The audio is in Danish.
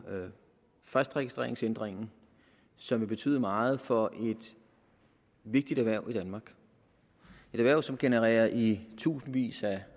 fristregistreringsændringen som vil betyde meget for et vigtigt erhverv i danmark et erhverv som genererer i tusindvis af